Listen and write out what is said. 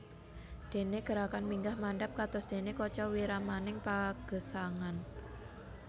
Dene gerakan minggah mandhap kados dene kaca wiramaning pagesangan